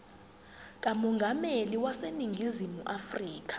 kamongameli waseningizimu afrika